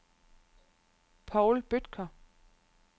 Paul Bødker